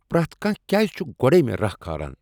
پرٛیتھ کانٛہہ کیٛاز چھ گۄڑٕ میٚے راہ کھالان؟